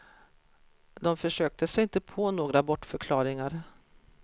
De försökte sig inte på några bortförklaringar.